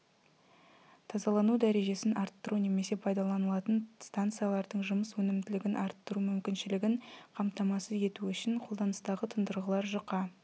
тазалану дәрежесін арттыру немесе пайдаланылатын станциялардың жұмыс өнімділігін арттыру мүмкіншілігін қамтамасыз ету үшін қолданыстағы тұндырғылар жұқа